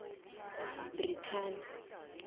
brithani